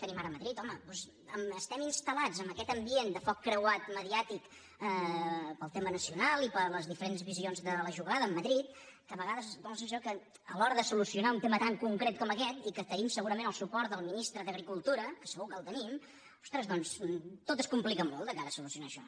home doncs estem instal·lats en aquest ambient de foc creuat mediàtic pel tema nacional i per les diferents visions de la jugada amb madrid que a vegades dóna la sensació que a l’hora de solucionar un tema tan concret com aquest i en què tenim segurament el suport del ministre d’agricultura que segur que el tenim ostres doncs tot es complica molt de cara a solucionar això